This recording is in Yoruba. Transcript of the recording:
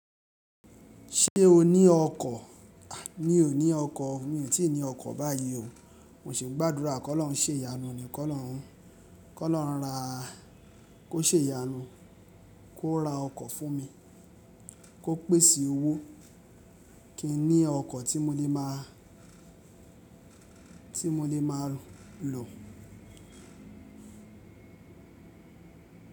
Ṣé o ní ọkọ̀? A, mi ò ní ọkọ̀. Mi ò tí ì ní ọkọ̀ báyìí o. Mo sì ń gbàdúrà kí ọlọ́run ṣé ìyanu ni, kí ọlọ́run, kí ọlọ́run ra, kó ṣé ìyanu, kó ra ọkọ̀ fún mi, kó pèsè owó kí n ní ọkọ̀ tí mo lè máa, tí mo lè máa lò.